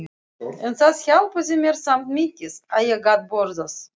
En það hjálpaði mér samt mikið að ég gat borðað.